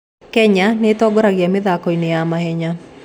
Kenya nĩĩtongoragia mĩthako-inĩ ya mahenya